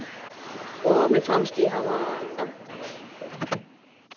Og mér fannst ég hafa þekkt hana lengur.